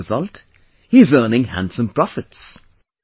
And the result he is earning handsome profits